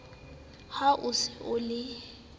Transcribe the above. ha o se o le